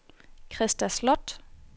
Krista Sloth